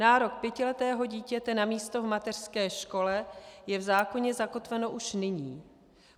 Nárok pětiletého dítěte na místo v mateřské škole je v zákoně zakotven už nyní.